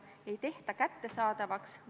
Aitäh!